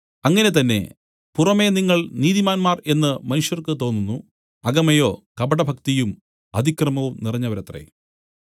അങ്ങനെ തന്നെ പുറമെ നിങ്ങൾ നീതിമാന്മാർ എന്നു മനുഷ്യർക്ക് തോന്നുന്നു അകമേയോ കപടഭക്തിയും അതിക്രമവും നിറഞ്ഞവരത്രേ